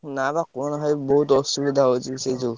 ନା ବା କୁହନା ଭାଇ ବହୁତ୍ ଅସୁବିଧା ହଉଛି ସେ ଯୋଉ।